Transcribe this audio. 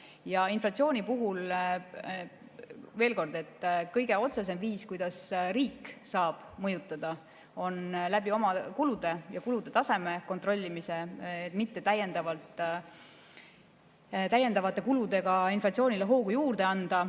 Ja inflatsiooni puhul, veel kord, kõige otsesem viis, kuidas riik saab mõjutada, on läbi oma kulude ja kulude taseme kontrollimise, mitte täiendavate kuludega inflatsioonile hoogu juurde anda.